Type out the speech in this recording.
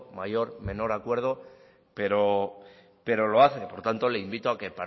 mayor o menor acuerdo pero lo hace por tanto le invito a que